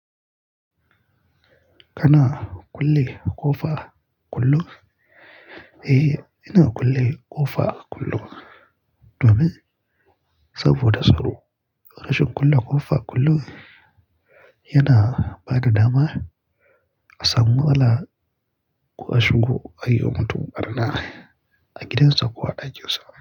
Kana kulle ƙofa kullum? Eh, ina kulle ƙofa kullum. Domin? Saboda tsaro. Rashin kulle ƙofa kullum yana bada dama a samu matsala ko a shigo ayi wa mutum ɓarna a gidansa ko a ɗakin sa.